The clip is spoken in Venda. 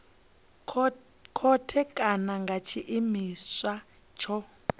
khothe kana nga tshiimiswa tsho